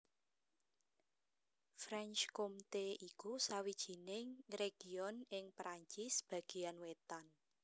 Franche Comté iku sawijining région ing Perancis bagéan wétan